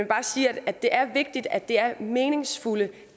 bare sige at det er vigtigt at det er meningsfulde